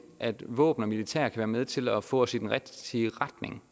våben og militær kan være med til at få os i den rigtige retning